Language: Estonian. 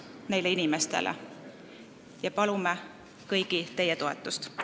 Palume teie kõigi toetust!